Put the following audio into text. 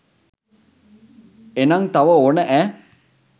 ඒනං තව ඕන ඈ.